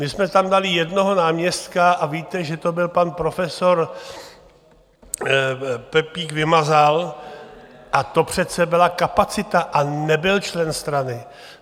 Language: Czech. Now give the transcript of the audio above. My jsme tam dali jednoho náměstka a víte, že to byl pan profesor Pepík Vymazal, a to přece byla kapacita a nebyl člen strany.